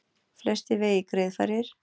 Flestir vegir greiðfærir